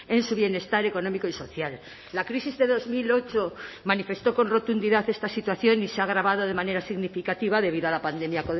en su bienestar económico y social la crisis de dos mil ocho manifestó con rotundidad esta situación y se ha agravado de manera significativa debido a la pandemia